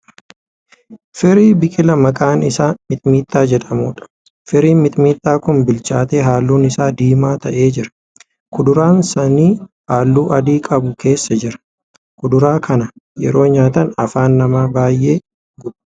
Firii biqilaa maqaan isaa mixmixa jedhamuudha. Firiin mixmixaa kun bilchaatee halluun isaa diimaa ta'ee jira. Kuduraan saanii halluu adii qabu keessa jira. Kuduraa kana yeroo nyaatan afaan namaa baay'ee guba.